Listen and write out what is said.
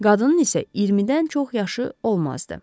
Qadının isə 20-dən çox yaşı olmazdı.